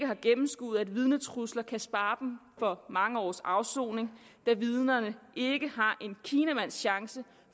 har gennemskuet at vidnetrusler kan spare dem for mange års afsoning da vidnerne ikke har en kinamands chance